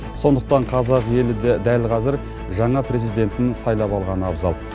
сондықтан қазақ елі дәл қазір жаңа президентін сайлап алғаны абзал